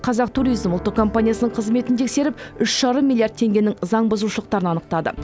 қазақ туризм ұлттық компаниясының қызметін тексеріп үш жарым миллиард теңгенің заң бұзушылықтарын анықтады